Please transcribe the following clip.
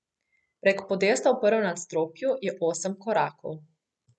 Prek podesta v prvem nadstropju je osem korakov.